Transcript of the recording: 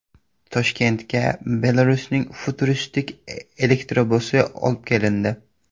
Toshkentga Belarusning futuristik elektrobusi olib kelindi .